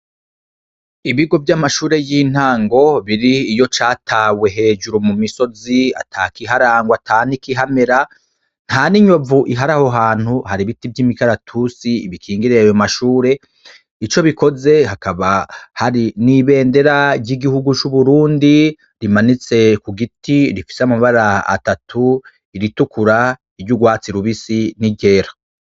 Ibigo vy'amashure y'intango biri iyo catawe hejuru mu misozi atakiharangwa atanikihamera nta n'inyovu iharaho hantu hari ibiti vy'imigaratusi ibikingereewe mashure ico bikoze hakaba hari n'ibendera ry'igihugu c'uburundi rimanitsekue giti rifise amabara atatu iritukura iryo ugwatsi lubisi n'iryera.